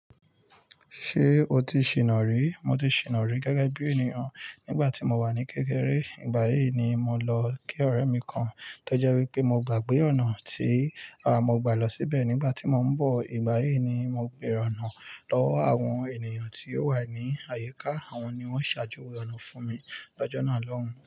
Ṣé o ti ṣìná rí? Mo ti ṣìná rí gẹ́gẹ́ bí ènìyàn nígbà tí mo wà ní kékeré. Ìgbà yí ni mo lọ kí ọ̀rẹ́ mi kan tó jẹ́ wí pé mo gbàgbé ọ̀nà tí à mo gbà lọ síbẹ̀ nígbà tí mo ń bọ̀. Ìgbà yí ni mo bèèrè ọ̀nà lọ́wọ́ àwọn ènìyàn tí ó wà ní àyíká, àwọn ni wọ́n ṣàjò ọ̀nà fún mi. Ọjọ́ náà lọ́hùn.